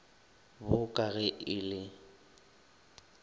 bo ka ge e le